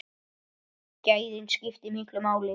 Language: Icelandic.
Gæðin skiptu miklu máli.